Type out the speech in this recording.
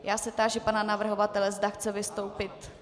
Já se táži pana navrhovatele, zda chce vystoupit.